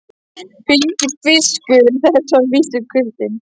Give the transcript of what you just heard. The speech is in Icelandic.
Fylgifiskur þess var að vísu kuldinn.